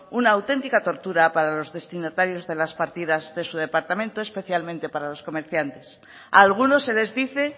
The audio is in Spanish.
una auténtica tortura para los destinatarios de las partidas de su departamento especialmente para los comerciantes a algunos se les dice